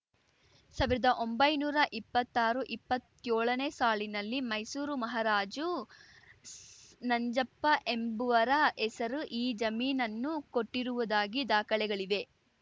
ಸಾವ್ರ್ದೊಂಬೈನೂರಾ ಇಪ್ಪತ್ತಾರುಇಪ್ಪತ್ತೇಳನೇ ಸಾಲಿನಲ್ಲಿ ಮೈಸೂರು ಮಹಾರಾಜು ನಂಜಪ್ಪ ಎಂಬುವರ ಹೆಸರು ಈ ಜಮೀನನನ್ನು ಕೊಟ್ಟಿರುವುದಾಗಿ ದಾಖಲೆಗಳಿವೆ